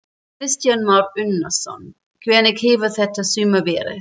Kristján Már Unnarsson: Hvernig hefur þetta sumar verið?